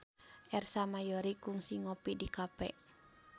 Ersa Mayori kungsi ngopi di cafe